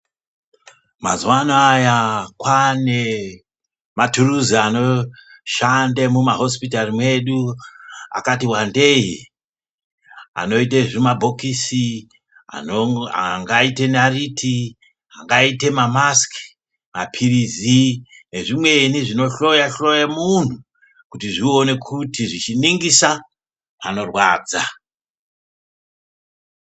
Mazuwa anaya kwane mathuruzi anoshande mumahosipitari mwedu akati wandei, anoite zvimabhokisi, angaite naiti, angaite mamasiki, mapirisi nezvimweni zvinohloya hloya munhu, kuti zvione kuti zvichiningisa panorwadza.